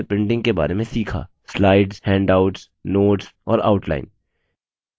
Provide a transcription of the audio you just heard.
slides handouts notes और outline